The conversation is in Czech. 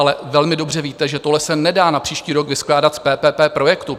Ale velmi dobře víte, že tohle se nedá na příští rok vyskládat z PPP projektů.